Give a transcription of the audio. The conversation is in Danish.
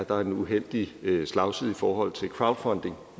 der er en uheldig slagside i forhold til crowdfunding